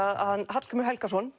Hallgrímur Helgason